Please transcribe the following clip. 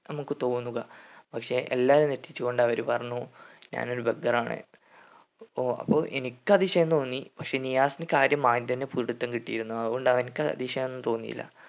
നമുക്ക് തോന്നുക പക്ഷെ എല്ലാം തെറ്റിച്ചു കൊണ്ട് അവർ പറഞ്ഞു ഞാൻ ഒരു beggar ആണ് അപ്പൊ അപ്പൊ എനിക്ക് അതിശയം തോന്നി പക്ഷെ നിയാസിനി കാര്യം ആദ്യം തന്നെ പിടിത്തം കിട്ടിയിരുന്നു അതുകൊണ്ട് അവൻക്ക് അതിശയഒന്നും തോന്നിയില്ല